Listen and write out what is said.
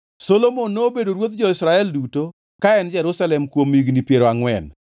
Solomon nobedo ruodh jo-Israel duto ka en Jerusalem kuom higni piero angʼwen.